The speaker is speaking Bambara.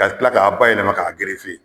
Ka tila k'a bayɛlɛma k'a gerefe